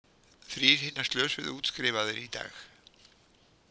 Þrír hinna slösuðu útskrifaðir í dag